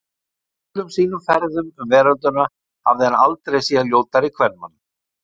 Á öllum sínum ferðum um veröldina hafði hann aldrei séð ljótari kvenmann.